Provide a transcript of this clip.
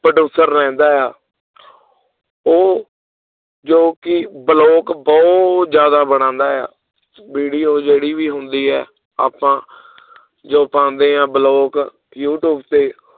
producer ਰਹਿੰਦਾ ਆ ਉਹ ਜੋ ਕਿ ਬਲੋਗ ਬਹੁਤ ਜ਼ਿਆਦਾ ਬਣਾਉਂਦਾ ਆ video ਜਿਹੜੀ ਵੀ ਹੁੰਦੀ ਹੈ ਆਪਾਂ ਜੋ ਪਾਉਂਦੇ ਹਾਂ ਬਲੋਗ ਯੂਟਿਊਬ ਤੇ